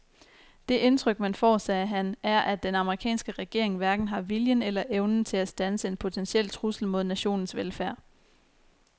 Det indtryk man får, sagde han, er at den amerikanske regering hverken har viljen eller evnen til at standse en potentiel trussel mod nationens velfærd.